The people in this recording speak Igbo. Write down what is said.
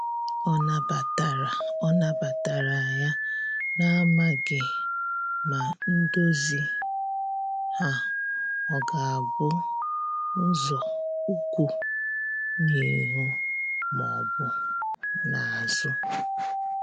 Ọ na batara Ọ na batara ya, na amaghi ma ndozi ha ọga bụ nzọụkwụ n'ihu ma ọbụ n'azu